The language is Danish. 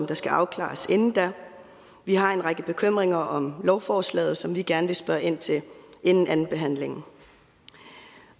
der skal afklares inden da vi har en række bekymringer om lovforslaget som vi gerne vil spørge ind til inden andenbehandlingen